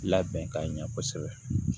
Labɛn ka ɲɛ kosɛbɛ